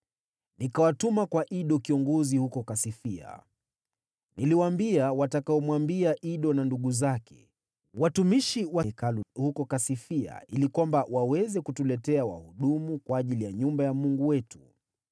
nikawatuma kwa Ido kiongozi huko Kasifia. Niliwaambia watakayomwambia Ido na ndugu zake, watumishi wa Hekalu huko Kasifia, ili waweze kutuletea wahudumu kwa ajili ya nyumba ya Mungu wetu.